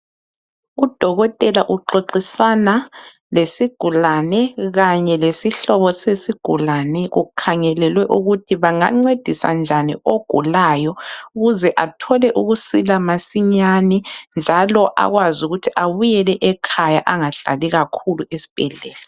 Udokotela uxoxisana lesigulane kanye lesihlobo sesigulane kukhangelelwe ukuthi banga ncedisa njani ogulayo ukuze athole ukusila masinyane njalo akwazi ukuthi abuyele ekhaya angahlali kakhulu esibhedlela.